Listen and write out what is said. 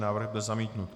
Návrh byl zamítnut.